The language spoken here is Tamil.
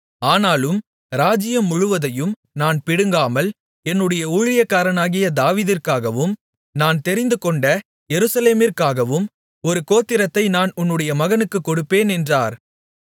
ஆனாலும் ராஜ்ஜியம் முழுவதையும் நான் பிடுங்காமல் என்னுடைய ஊழியக்காரனாகிய தாவீதிற்காகவும் நான் தெரிந்துகொண்ட எருசலேமிற்காகவும் ஒரு கோத்திரத்தை நான் உன்னுடைய மகனுக்குக் கொடுப்பேன் என்றார்